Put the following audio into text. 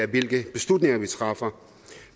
hvilke beslutninger vi træffer